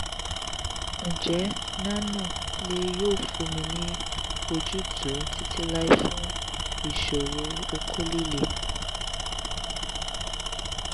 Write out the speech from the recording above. ìbéèrè: njẹ nano-leo yoo funni ni ojutu titilai fun iṣoro okó lile?